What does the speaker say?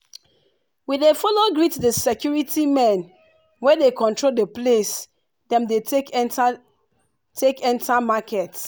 we dey follow greet the security men wey dey control the place dem dey take enter take enter market